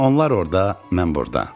Onlar orada, mən burada.